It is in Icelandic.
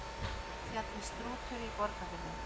Fjallið Strútur í Borgarfirði.